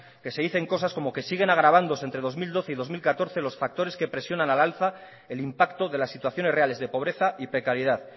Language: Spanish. que se dicen cosas como que siguen agravándose entre dos mil doce y dos mil catorce los factores que presionan al alza el impacto de las situaciones reales de pobreza y precariedad